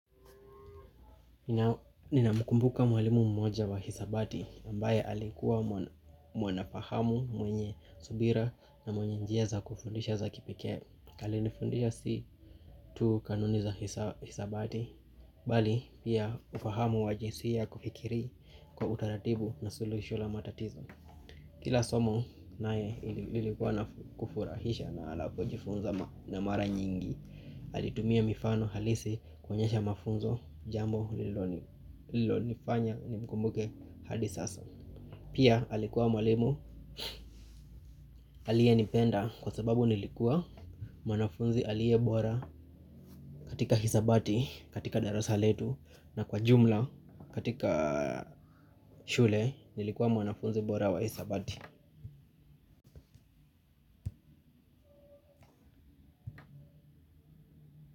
Nina mkumbuka mwalimu mmoja wa hisabati ambaye alikuwa mwanafahamu mwenye subira na mwenye njia za kufundisha za kipekee alinifundisha si tu kanuni za hisabati, bali pia ufahamu wa jinsia kufikiri kwa utaratibu na solution la matatizo. Kila somo naye ilikuwa na kufurahisha na anapojifunza na mara nyingi alitumia mifano halisi kuonyesha mafunzo jambo lilonifanya nimkumbuke hadi sasa. Pia alikuwa mwalimu aliyenipenda kwa sababu nilikuwa mwanafunzi aliyebora katika hisabati katika darasa letu na kwa jumla katika shule nilikuwa mwanafunzi bora wa hisabati.